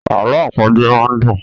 Àlọ àpagbè máa ń dùn.